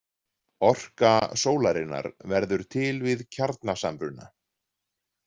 Orka sólarinnar verður til við kjarnasamruna.